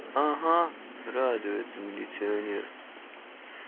ага радуется милиционер